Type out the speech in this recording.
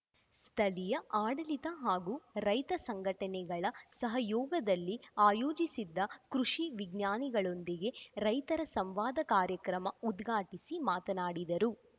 ಸ್ಥಳೀಯ ಆಡಳಿತ ಹಾಗೂ ರೈತಸಂಘಟನೆಗಳ ಸಹಯೋಗದಲ್ಲಿ ಆಯೋಜಿಸಿದ್ದ ಕೃಷಿ ವಿಜ್ಞಾನಿಗಳೊಂದಿಗೆ ರೈತರ ಸಂವಾದ ಕಾರ್ಯಕ್ರಮ ಉದ್ಘಾಟಿಸಿ ಮಾತನಾಡಿದರು